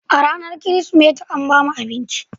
A ranar Kirsimeti, sun ba mu abinci